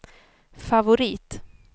favorit